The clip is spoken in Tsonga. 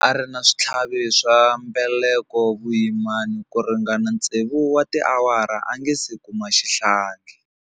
A ri na switlhavi swa mbeleko vuyimani ku ringana tsevu wa tiawara a nga si kuma xihlangi.